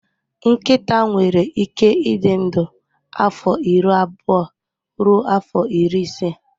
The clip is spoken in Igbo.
Nkịta nwere ike ịdị ndụ afọ iri abụọ ruo afọ iri ise